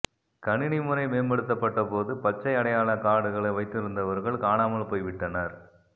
கணினி முறை மேம்படுத்தப்பட்ட போது பச்சை அடையாளக் கார்டுகளை வைத்திருந்தவர்கள் காணாமல் போய் விட்டனர்